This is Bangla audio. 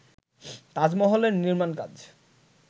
তাজমহলের নির্মাণকাজ